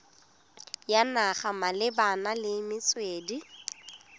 ya naga malebana le metswedi